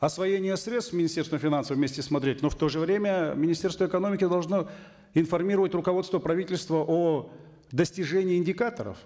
освоение средств министерством финансов вместе смотреть но в то же время министерство экономики должно информировать руководство правительства о достижении индикаторов